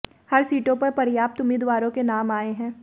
हर सीटों पर पर्याप्त उम्मीदवारों के नाम आए हैं